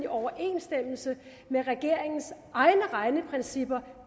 overensstemmelse med regeringens egne regneprincipper